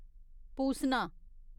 पूसना